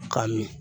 Ka min